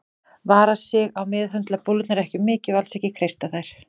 Vara sig á að meðhöndla bólurnar of mikið og alls ekki kreista þær.